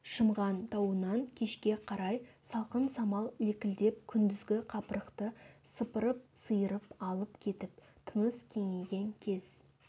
шымған тауынан кешке қарай салқын самал лекілдеп күндізгі қапырықты сыпырып-сиырып алып кетіп тыныс кеңейген кез